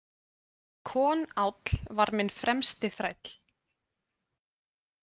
Konáll var minn fremsti þræll.